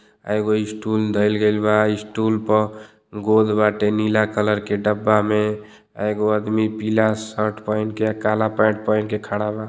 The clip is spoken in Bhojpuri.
आ एगो स्टूल धइल गइल बा। स्टूल पर गोल बाटे। नीला कलर के डब्बा में एगो आदमी पीला शर्ट पैंट आ काला पैंट पहिन के खड़ा बा |